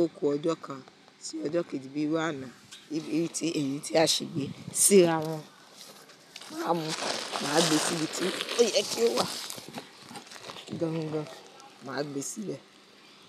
oku ọjọ́ kan, tí ọjọ́ kejì bíi iru àna, èyí tí a sì gbé síra wọn, máa mu, màá gbé sí ibi tí ó yẹ kí ó wà. Gangan, màá gbé síbẹ̀